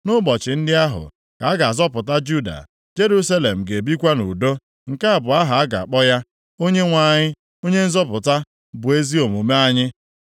Nʼụbọchị ndị ahụ, ka a ga-azọpụta Juda, Jerusalem ga-ebikwa nʼudo. + 33:16 Na-atụghị ụjọ ọbụla Nke a bụ aha a ga-akpọ ya, Onyenwe anyị Onye Nzọpụta, bụ ezi omume anyị.’ + 33:16 Onyenwe anyị, bụ ezi omume anyị